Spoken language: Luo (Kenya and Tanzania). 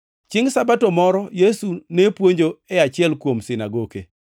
Chiengʼ Sabato moro Yesu ne puonjo e achiel kuom sinagoke,